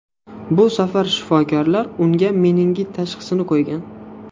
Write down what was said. Bu safar shifokorlar unga meningit tashxisini qo‘ygan.